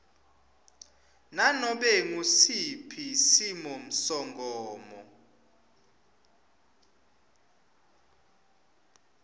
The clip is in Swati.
nanobe ngusiphi simisomgomo